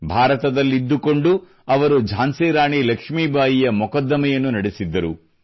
ಭಾರತದಲ್ಲಿದ್ದುಕೊಂಡು ಅವರು ಝಾನ್ಸಿ ರಾಣಿ ಲಕ್ಷ್ಮೀಬಾಯಿಯ ಮೊಕದ್ದಮೆಯನ್ನು ನಡೆಸಿದ್ದರು